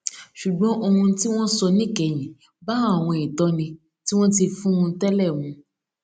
ṣùgbọn ohun tí wón sọ níkẹyìn bá àwọn ìtóni tí wón ti fún un télè mu